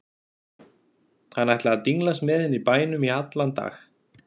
Hann ætlaði að dinglast með henni í bænum í allan dag.